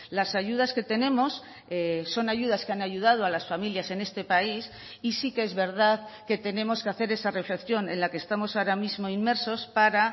las ayudas que tenemos son ayudas que han ayudado a las familias en este país y sí que es verdad que tenemos que hacer esa reflexión en la que estamos ahora mismo inmersos para